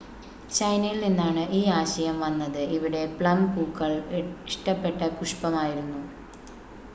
ചൈനയിൽ നിന്നാണ് ഈ ആശയം വന്നത് ഇവിടെ പ്ലം പൂക്കൾ ഇഷ്ടപ്പെട്ട പുഷ്പമായിരുന്നു